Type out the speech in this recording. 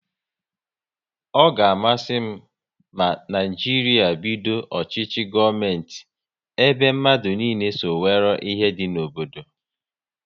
Ọ ga amasị m ma Naijiria bido ọchịchị gọọmenti ebe mmadụ niile so nwéré ihe dị n'obodo